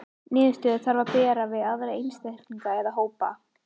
Niðurstöðurnar þarf að bera við aðra einstaklinga eða hópa.